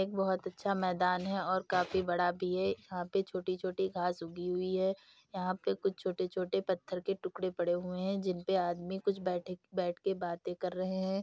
एक बहुत अच्छा मैदान है और काफ़ी बड़ा भी है यहाँ पे छोटी-छोटी घास उगी हुई हैं यहाँ पे कुछ छोटे-छोटे पत्थर के टुकड़े पड़े हुए हैं जिनपे आदमी कुछ बैठे बैठ के बाते कर रहे हैं।